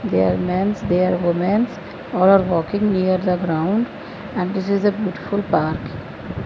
they are mens they are womens all are walking near the ground and this is a beautiful park.